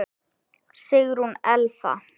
Sigrún Elfa.